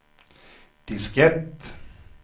diskett